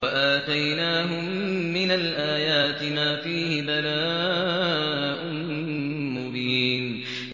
وَآتَيْنَاهُم مِّنَ الْآيَاتِ مَا فِيهِ بَلَاءٌ مُّبِينٌ